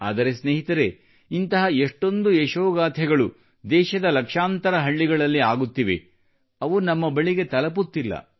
ಆದರೆ ಸ್ನೇಹಿತರೆ ಇಂತಹ ಯಶೋಗಾಥೆಗಳು ದೇಶದ ಲಕ್ಷಾಂತರ ಹಳ್ಳಿಗಳಲ್ಲಿ ಆಗುತ್ತಿವೆ ಅವು ನಮ್ಮ ಬಳಿಗೆ ತಲುಪುತ್ತಿಲ್ಲ